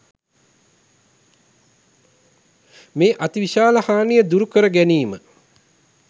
මේ අති විශාල හානිය දුරු කර ගැනීම